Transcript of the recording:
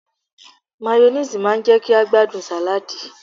Máyónéèsì má ń jẹ́ kí a gbádùn sàláàdì